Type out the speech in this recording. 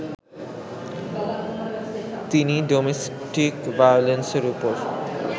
তিনি ডোমেস্টিক ভায়োলেন্সের ওপর